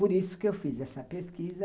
Por isso que eu fiz essa pesquisa.